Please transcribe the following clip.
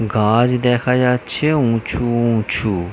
গাছ-ছ দেখা যাচ্ছে উঁচু উঁচু।